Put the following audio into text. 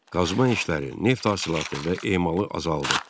Qazma işləri, neft hasilatı və emalı azaldı.